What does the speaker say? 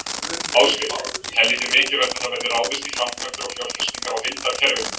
Ásgeir: Teljið þið mikilvægt að það verði ráðist í framkvæmdir og fjárfestingar á heildarkerfinu?